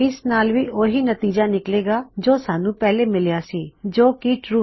ਇਸ ਨਾਲ ਵੀ ਉਹੀ ਨਤੀਜਾ ਨਿਕਲੇਗਾ ਜੋ ਸਾਨ੍ਹੂ ਪਹਿਲੇ ਮਿਲਿਆ ਸੀ ਜੋ ਹੈ ਟਰੂ